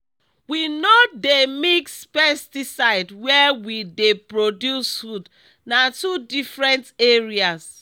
we no dey mix pesticide where we dey produce food—na two different areas.